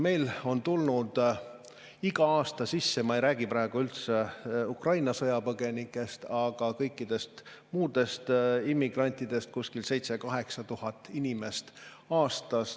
Meil on tulnud iga aasta sisse – ma ei räägi praegu üldse Ukraina sõjapõgenikest, aga kõikidest muudest immigrantidest – 7000–8000 inimest aastas.